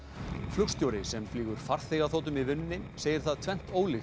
flugstjóri sem flýgur farþegaþotum í vinnunni segir það tvennt ólíkt